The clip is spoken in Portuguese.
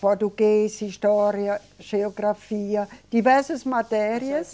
Português, história, geografia, diversas matérias.